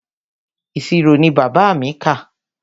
Ìṣirò ni bàbá mi kà.